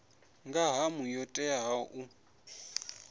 nga ṱhamu yo teaho u